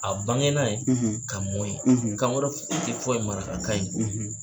A bange na ye ka mɔn ye kan wɛrɛ fɔyi tɛ fɔ ye marakakan in kɔ.